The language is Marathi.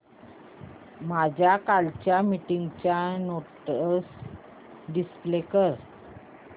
माझ्या कालच्या मीटिंगच्या नोट्स डिस्प्ले कर